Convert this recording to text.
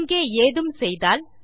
இங்கே ஏதும் செய்தால்